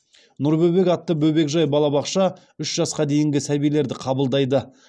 нұр бөбек атты бөбекжай балабақша үш жасқа дейінгі сәбилерді қабылдайды